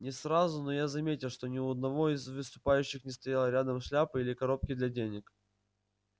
не сразу но я заметил что ни у одного из выступающих не стояло рядом шляпы или коробки для денег